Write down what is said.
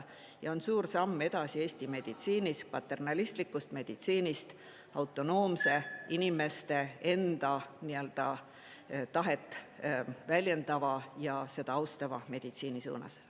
Ja see on suur samm edasi Eesti meditsiinis, paternalistlikust meditsiinist autonoomse, inimeste enda tahet väljendava ja seda austava meditsiini suunas.